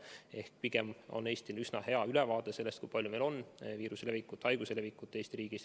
Ehk pigem on Eestil üsna hea ülevaade sellest, kui laialt meil on viirus levinud.